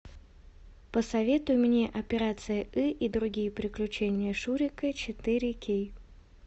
посоветуй мне операция ы и другие приключения шурика четыре кей